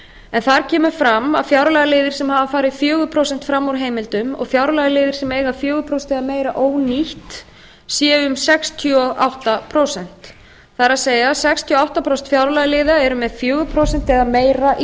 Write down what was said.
en þar kemur fram að fjárlagaliðir sem farið hafa fjögur prósent fram úr heimildum og fjárlagaliðir sem eiga fjögur prósent eða meira ónýtt séu um sextíu og átta prósent það er að segja sextíu og átta prósent fjárlagaliða eru með fjögur prósent eða meira í